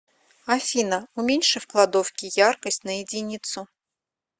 афина уменьши в кладовке яркость на единицу